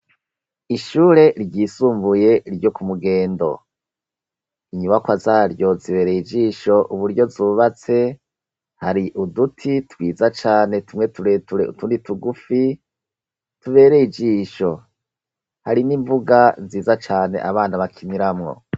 Ishure ryisumbuye ryo ku mugendo. Inyubakwa zaryo zibereye ijisho uburyo zubatse, hari uduti twiza cane tumwe tureture utundi tugufi, tubereye ijisho. Hari n'imbuga nziza cane abana bakiniramwo.